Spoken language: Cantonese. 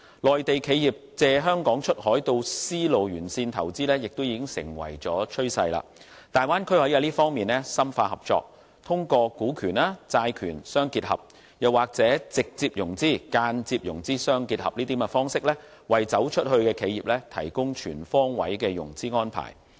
內地企業借香港出海到絲路沿線投資亦已成為趨勢，大灣區可在這方面深化合作，通過股權、債權相結合，又或直接融資、間接融資相結合等方式，為"走出去"的企業提供全方位的融資安排。